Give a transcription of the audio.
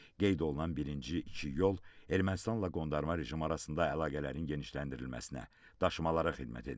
Qeyd olunan birinci, iki yol Ermənistanla qondarma rejim arasında əlaqələrin genişləndirilməsinə, daşımalara xidmət edib.